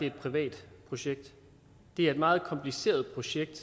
et privat projekt det er et meget kompliceret projekt